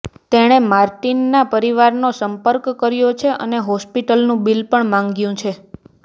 તેણે માર્ટિનના પરિવારનો સંપર્ક કર્યો છે અને હોસ્પિટલનું બિલ પણ માંગ્યું છે